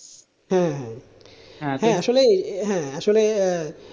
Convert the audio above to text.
হ্যাঁ আসলে হ্যাঁ আসলে,